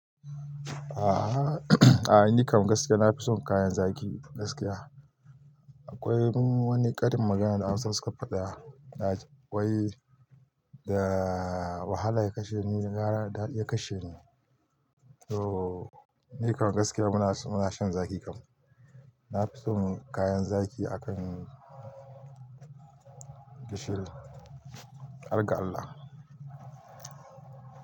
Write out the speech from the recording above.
A'a a'a ni kam gaskiya na fi son kayan zaki gaskiya. Akwai wani karin magana da Hausawa suka faɗa na ji, wai da wahala ya kashe ni da gwara dadi ya kashe ni. To ni kam gaskiya muna, muna shan zaki kam. Na fi son kayan zaki akan gishiri, har ga Allah.